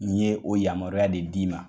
Nin ye o yamaruya de d'i ma.